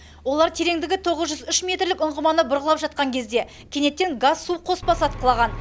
олар тереңдігі тоғыз жүз үш метрлік ұңғыманы бұрғылап жатқан кезде кенеттен газ су қоспасы атқылаған